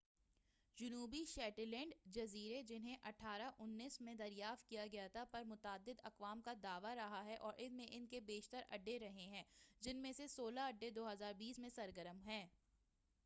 جنوبی شیٹلینڈ جزیرے جنھیں 1819 میں دریافت کیا گیا تھا پر متعدد اقوام کا دعویٰ رہا ہے اور ان میں ان کے بیشتر اڈے رہے ہیں جن میں سے سولہ اڈے 2020 میں سرگرم ہیں